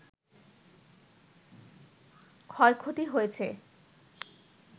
ক্ষয়ক্ষতি হয়েছে